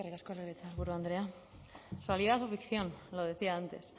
eskerrik asko legebiltzarburu andrea realidad o ficción lo decía antes